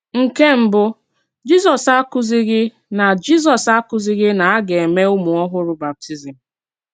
Nke mbú, Jízọ́s àkụ̀zìghì nà Jízọ́s àkụ̀zìghì nà a gà-èmè ùmù-òhùrù bàptízm.